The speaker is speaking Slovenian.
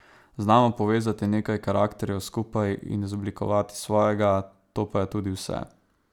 Znamo povezati nekaj karakterjev skupaj in izoblikovati svojega, to pa je tudi vse.